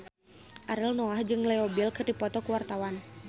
Ariel Noah jeung Leo Bill keur dipoto ku wartawan